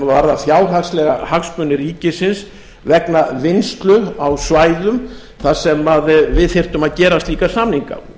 varða fjárhagslega hagsmuni ríkisins vegna vinnslu á svæðum þar sem við þyrftum að gera slíka samninga